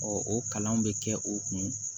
o kalan bɛ kɛ o kun